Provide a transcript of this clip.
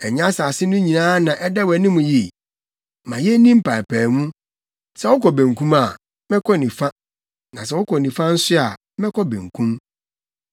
Ɛnyɛ asase no nyinaa na ɛda wʼanim yi? Ma yenni mpaapaemu. Sɛ wokɔ benkum a, mɛkɔ nifa, na sɛ wokɔ nifa nso a, mɛkɔ benkum.”